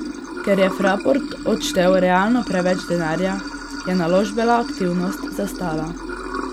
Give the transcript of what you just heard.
Ker je Fraport odštel realno preveč denarja je naložbena aktivnost zastala.